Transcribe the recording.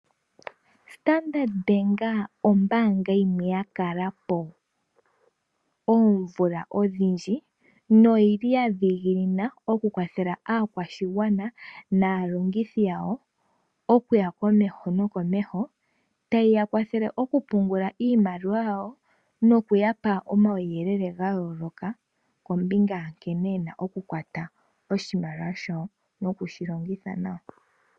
Standard Bank ombaanga yimwe ya kalapo oomvula odhindji, no yi li ya dhiginina oku kwathela aakwashigwana, naalongithi yawo, okuya komeho nokomeho, ta yi ya kwathele oku pungula iimaliwa yawo no ku ya pa omauyelele ga yooloka, kombinga ya nkene ye na oku longitha oshimaliwa shawo.